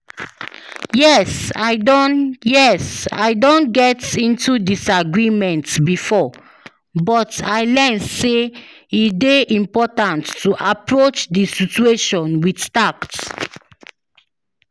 Yes, i don Yes, i don get into disagreement before, but i learn say e dey important to approach di situation with tact.